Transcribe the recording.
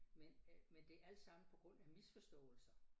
Men øh men det alt sammen på grund af misforståelser